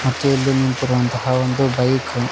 ಮತ್ತು ಇಲ್ಲಿ ನಿಂತಿರುವಂತಹ ಒಂದು ಬೈಕ್ --